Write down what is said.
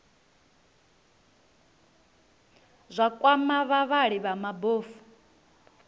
zwa kwama vhavhali vha mabofu